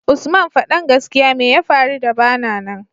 usman fadan gaskia meya faru da bana nan